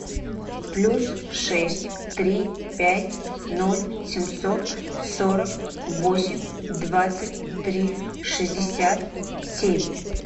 плюс шесть три пять ноль семьсот сорок восемь двадцать три шестьдесят семь